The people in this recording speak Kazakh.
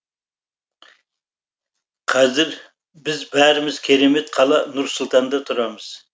қазір біз бәріміз керемет қала нұр сұлтанда тұрамыз